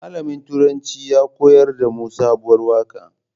Malamin turanci ya koyar damu sabuwar waƙa